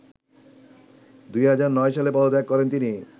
২০০৯ সালে পদত্যাগ করেন তিনি